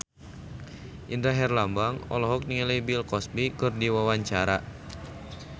Indra Herlambang olohok ningali Bill Cosby keur diwawancara